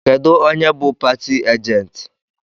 Kedụ onye bụ pari ajenti?